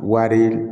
Wari